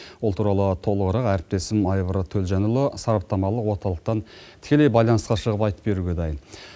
ол туралы толығырақ әріптесім айбар төлжанұлы сараптамалық орталықтан тікелей байланысқа шығып айтып беруге дайын